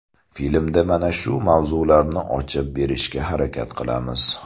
Filmda mana shu mavzularni ochib berishga harakat qilamiz.